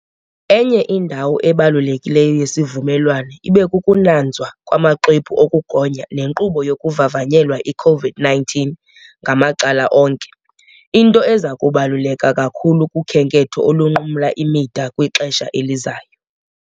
Enye indawo ebalulekileyo yesivumelwano ibekukunanzwa kwamaxwebhu okugonya nenkqubo yokuvavanyela i-COVID-19 ngamacala onke - into eza kubaluleka kakhulu kukhenketho olunqumla imida kwixesha elizayo.